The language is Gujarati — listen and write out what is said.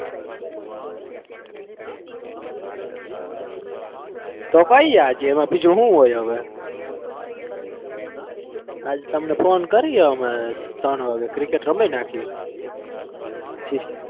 આજે એમાં બીજું હુ હોય હવે કાલ તમને ફોન કરીએ અમે ત્રણ વાગે ક્રિકેટ રમી નાખીએ પછી.